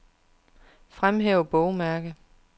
Fremhæv bogmærke.